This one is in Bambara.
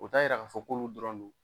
O ta yira k'a fɔ k'olu dɔrɔn don